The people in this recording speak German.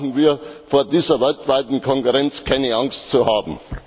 Dann brauchen wir vor dieser weltweiten Konkurrenz keine Angst zu haben.